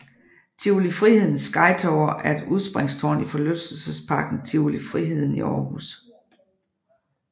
Tivoli Frihedens Sky Tower er et udspringstårn i forlystelsesparken Tivoli Friheden i Aarhus